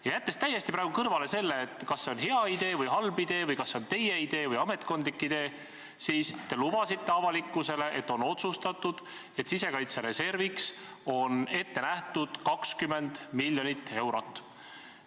Jätan praegu täiesti kõrvale selle, kas see on hea idee või halb idee või kas see on teie idee või ametkondlik idee, aga te kinnitasite avalikkusele, et asi on otsustatud, sisekaitsereserviks on ette nähtud 20 miljonit eurot.